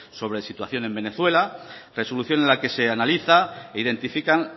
sobre situación en venezuela resolución en la que se analiza e identifican